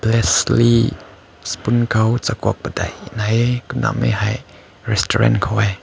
less le spoon koi zakaw paedai ne nai hae kumma mehai restaurant ko wae.